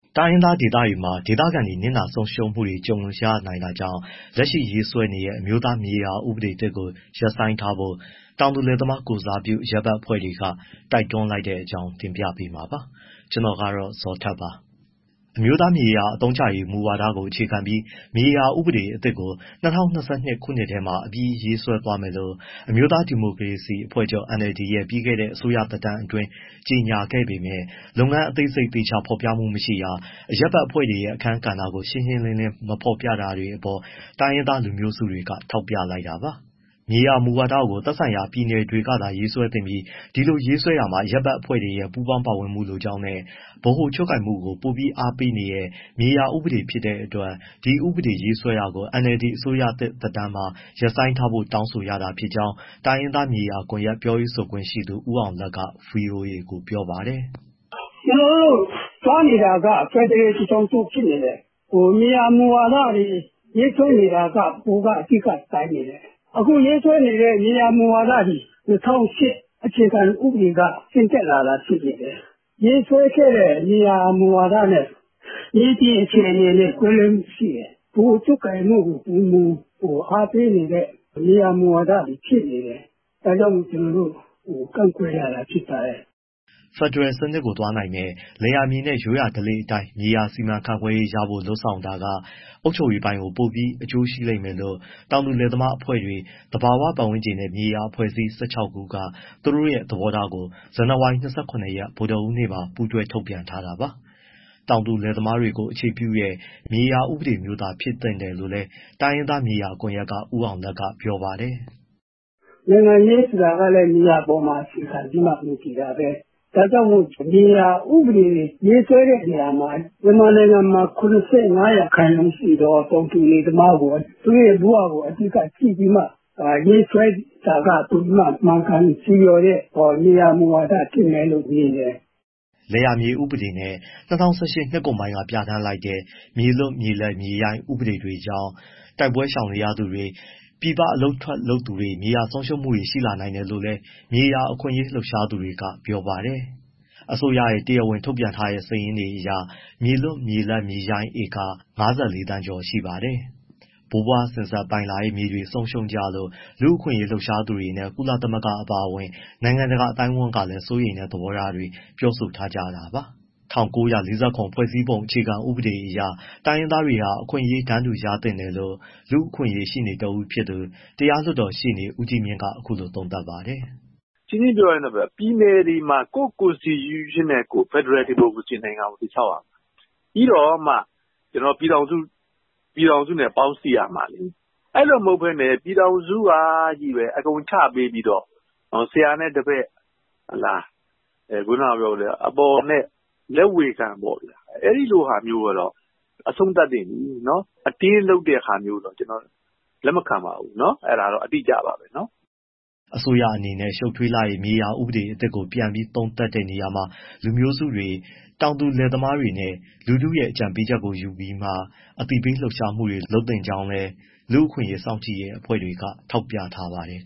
တိုင်းရင်းသား ဒေသတွေမှာ ဒေသခံတွေ နစ်နာဆုံးရှုံးမှုတွေ ကြုံရနိုင်တာကြောင့် လက်ရှိရေးဆွဲနေတွဲ အမျိုးသားမြေယာ ဥပဒေသစ်ကို ရပ်ဆိုင်းထားဖို့ တောင်သူလယ်သမား ကိုယ်စားပြု အရပ်ဘက် အဖွဲ့တွေက တိုက်တွန်းလိုက်တဲ့အကြောင်း တင်ပြပေးမှာပါ။ ဗွီအိုအေမြန်မာပိုင်း သတင်းထောက် ကိုဇော်ထက်က သတင်းပေးပို့ထားပါတယ်။ အမျိုးသားမြေအသုံးချရေး မူဝါဒကို အခြေခံပြီး မြေယာဥပဒေအသစ်ကို ၂၀၂၂ ခုနှစ်ထဲမှာ အပြီးရေးဆွဲသွားမယ်လို့ အမျိုးသား ဒီမိုကရေစီ အဖွဲ့ချုပ် NLD ရဲ့ ပြီးခဲ့တဲ့ အစိုးရသက်တမ်းအတွင်း ကြေညာခဲ့ပေမဲ့ လုပ်ငန်းအသေးစိတ် သေချာဖော်ပြမှုမရှိတာ၊ အရပ်ဘက်အဖွဲ့တွေရဲ့ အခန်းကဏ္ဍကို ရှင်းရှင်းလင်းလင်း မဖော်ပြတာတွေအပေါ် တိုင်းရင်းသား လူမျိုးစုတွေက ထောက်ပြလိုက်တာပါ။ မြေယာမူဝါဒကို သက်ဆိုင်ရာ ပြည်နယ်တွေကသာရေးဆွဲသင့်ပြီး ဒီလိုရေးဆွဲတာမှာ အရပ်ဘက်အဖွဲ့တွေရဲ့ ပူးပေါင်းပါဝင်မှုလိုကြောင်းနဲ့ ဗဟိုချုပ်ကိုင်မှုကို ပိုပြီးအားပေးနေတဲ့ မြေယာဥပဒေဖြစ်တဲ့အတွက် ဒီဥပဒေရေးဆွဲတာကို NLD အစိုးရသစ်သက်တမ်းမှာ ရပ်ဆိုင်းထားဖို့ တောင်းဆိုရတာဖြစ်ကြောင်း တိုင်းရင်းသား မြေယာကွန်ရက် ပြောရေးဆိုခွင့်ရှိသူ ဦးအောင်လတ်က ဗွီအိုအေကို ပြောပါတယ်။ “သွားနေတာက ဖက်ဒရယ်ပြည်ထောင်စု ဖြစ်တယ်။ မြေယာမူဝါဒတွေ ရေးဆွဲနေတာက ဗဟိုက အဓိကကိုင်နေတယ်။ အခုရေးဆွဲနေတဲ့ မြေယာမူဝါဒတွေ ၂၀၀၈ အခြေခံဥပဒေက ဆင်းသက်လာတာဖြစ်တယ်။ ရေးဆွဲခဲ့တဲ့မြေယာမူဝါဒနဲ့ မြေပြင်အခြေအနေနဲ့ ကွဲလွဲမှုရှိတယ်။ ဗဟိုချုပ်ကိုင်မှုကို ပိုမိုအားပေးနေတဲ့ မြေယာမူဝါဒတွေဖြစ်နေတယ်။ ဒါကြောင့်မို့ ကန့်ကွက်ရတာ ဖြစ်ပါတယ်။” ဖက်ဒရယ်စနစ်ကို သွားနိုင်မယ့် လယ်ယာမြေနဲ့ ရိုးရာဓလေ့အတိုင်း မြေယာစီမံခန့်ခွဲရေးရဖို့ လုပ်ဆောင်တာက အုပ်ချုပ်ရေးကို ပိုပြီး အကျိုးဖြစ်လိမ့်မယ်လို့ တောင်သူလယ်သမားအဖွဲ့တွေ၊ သဘာဝပတ်ဝန်းကျင်နဲ့ မြေယာအဖွဲ့အစည်း ၁၆ ခုက သူတို့ရဲ့ သဘောထားကို ဇန်နဝါရီ ၂၇ ရက် ဗုဒ္ဓဟူးနေ့မှာ ပူးတွဲထုတ်ပြန်ထားတာပါ။ တောင်သူလယ်သမားတွေကို အခြေပြုတဲ့ မြေယာဥပဒေမျိုးသား ဖြစ်သင့်တယ်လို့လည်း တိုင်းရင်းသား မြေယာကွန်ရက်က ဦးအောင်လတ်က ပြောပါတယ်။ “နိုင်ငံရေးဆိုတာလည်း မြေယာပေါ်မှာ အခြေခံပြီး မူတည်တာပဲ။ ဒါကြောင့်မို့ မြေယာဥပဒေ ရေးဆွဲတဲ့နေရာမှာ မြန်မာနိုင်ငံမှာ ၇၅ ရာခိုင်နှုန်းရှိသော တောင်သူလယ်သမားကို၊ သူတို့ရဲ့ ဘဝကို အဓိက ကြည့်ပြီးမှ ရေးဆွဲတာက ပိုပြီးမှ မှန်ကန်ဆီလျော်တဲ့ မြေယာမူဝါဒ ဖြစ်မယလို့ မြင်တယ်။” လယ်ယာမြေဥပဒေနဲ့ ၂၀၁၈ နှစ်ကုန်ပိုင်းပြဋ္ဌာန်းလိုက်တဲ့ မြေလွတ်မြေလပ်မြေရိုင်းဥပဒေ တွေကြောင့် တိုက်ပွဲရှောင်နေရသူတွေ၊ ပြည်ပအလုပ်ထွက် လုပ်သူတွေ မြေယာဆုံးရှုံးမှုတွေ ရှိလာတယ်လို့လည်း မြေယာအခွင့်အရေး လှုပ်ရှားသူတွေက ပြောပါတယ်။ အစိုးရရဲ့ တရားဝင် ထုတ်ပြန်ထားတဲ့စာရင်းအရ မြေလွတ်၊ မြေလပ်၊ မြေရိုင်းက ဧက ၅၄ သန်း ကျော်ပါတယ်။ ဘိုးဘွားစဉ်ဆက် ပိုင်လာတဲ့မြေတွေ ဆုံးရှုံးကြလို့ လူ့အခွင့်အရေး လှုပ်ရှားသူတွေနဲ့ ကုလသမဂ္ဂ အပါအဝင် နိုင်ငံတကာ အသိုင်းအဝန်းကလည်း စိုးရိမ်တဲ့ သဘောထားတွေ ပြောဆိုထားကြတာပါ။ ၁၉၄၇ ဖွဲ့စည်းပုံအခြေခံဥပဒေအရ တိုင်းရင်းသားတွေဟာ အခွင့်အရေးတန်းတူ ရသင့်တယ်လို့ လူ့အခွင့်အရေးရှေ့နေတဦးဖြစ်သူတရားလွှတ်တော်ရှေ့နေ ဦးကြီးမြင့်က အခုလိုသုံးသပ်ပါတယ်။ “ရှင်းရှင်းပြောရရင် ပြည်နယ်တွေမှာ ကိုယ့် constitution နဲ့ကိုယ် ဖက်ဒရယ် ဒီမိုကရေစီနိုင်ငံကို တည်ဆောက်ရမှာ ပြီးတော့မှ ပြည်ထောင်စုနဲ့ ပေါင်းစည်းရမှာလေ။ အဲဒီလို မဟုတ်ဘဲ ပြည်ထောင်စုကချည်းပဲ အကုန်ချပေးပြီးတော့ ဆရာနဲ့တပည့် လက်ဝေခံပေါ့ဗျာ အဲဒီလိုဟာမျိုးကတော့ အဆုံးသတ်သင့်ပြီ၊ အတင်းလုပ်တဲ့ဟာမျိုးတော့ ကျနော်လက်မခံပါဘူး။” အစိုးရအနေနဲ့ ရှုပ်ထွေးလှတဲ့ မြေယာဥပဒေအသစ်ကို ပြန်ပြီးသုံးသပ်တဲ့နေရာမှာ လူမျိုးစုတွေ၊ တောင်သူလယ်သမားတွေနဲ့ လူထုရဲ့ အကြံပေးချက်ကို ယူပြီးမှ အသိပညာပေး လှုပ်ရှားမှုတွေ လုပ်သင့်ကြောင်းလည်း လူ့အခွင့်အရေး စောင့်ကြည့်ရေးအဖွဲ့ကလည်း ထောက်ပြထားပါတယ်